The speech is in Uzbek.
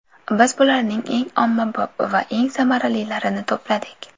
Biz bularning eng ommabop va eng samaralilarini to‘pladik.